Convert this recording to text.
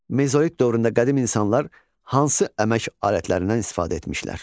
Mezolit dövründə qədim insanlar hansı əmək alətlərindən istifadə etmişlər?